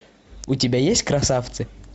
у тебя есть красавцы